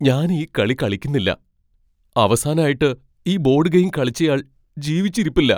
ഞാൻ ഈ കളി കളിക്കുന്നില്ല. അവസാനായിട്ട് ഈ ബോഡ് ഗെയിം കളിച്ചയാൾ ജീവിച്ചിരിപ്പില്ല .